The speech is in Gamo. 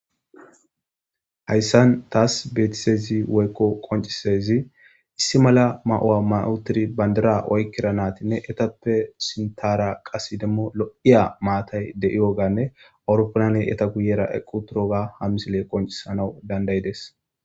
hayssan taas beetisezi woykko qoncisezi issi mala ma7owa mayotiri bandira oykkira naatinne etappe sintara qasi demmo lo7iya maatay de7iyoganne awuroppanane eta guyera equ turoga hamisile qoncisanawu dandayides